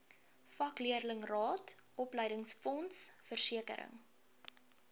vakleerlingraad opleidingsfonds versekering